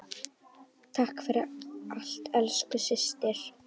Takk fyrir allt, elsku systir.